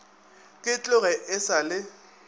ke tloge e sa le